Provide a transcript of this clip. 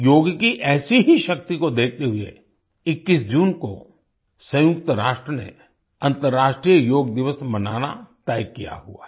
योग की ऐसी ही शक्ति को देखते हुए 21 जून को संयुक्त राष्ट्र ने अंतर्राष्ट्रीय योग दिवस मनाना तय किया हुआ है